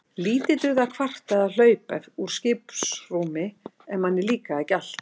Lítið dugði að kvarta eða hlaupa úr skiprúmi ef manni líkaði ekki allt.